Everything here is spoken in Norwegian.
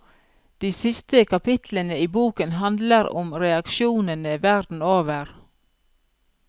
De siste kapitlene i boken handler om reaksjonene verden over.